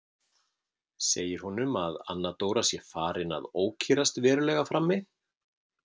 Segir honum að Anna Dóra sé farin að ókyrrast verulega frammi.